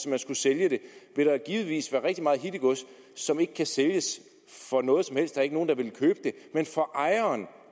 man skulle sælge det vil der givetvis vil være rigtig meget hittegods som ikke kan sælges for noget som helst der er ikke nogen der vil købe det men for ejeren